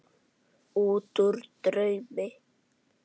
Útúr draumi.